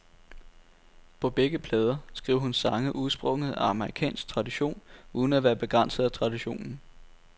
På begge plader skriver hun sange udsprunget af amerikansk tradition uden at være begrænset af traditionen.